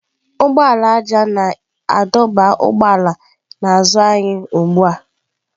Ụgbọala ájá na-adọba ụgbọala n'azụ anyị ugbu a.